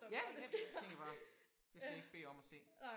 Ja jeg tænker bare det skal jeg ikke bede om at se